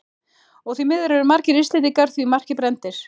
Og því miður eru margir Íslendingar því marki brenndir.